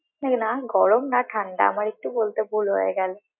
না গরম না ঠান্ডা আমার একটু বলতে ভুল হয়ে গেলো।